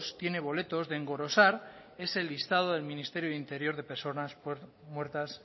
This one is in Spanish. tiene boletos de engrosar ese listado del ministerio de interior de personas muertas